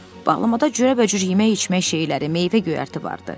Bağlamada cürbəcür yemək-içmək şeyləri, meyvə-göyərti vardı.